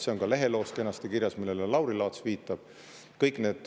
See on ka leheloos, millele Lauri Laats viitab, kenasti kirjas.